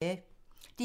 DR1